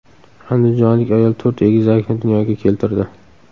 Andijonlik ayol to‘rt egizakni dunyoga keltirdi.